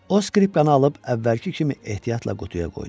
O skripkanı alıb əvvəlki kimi ehtiyatla qutuya qoydu.